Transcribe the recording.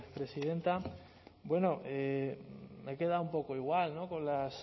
presidenta bueno me he quedado un poco igual con las